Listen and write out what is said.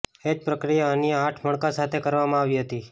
એ જ પ્રક્રિયા અન્ય આઠ મણકા સાથે કરવામાં આવી હતી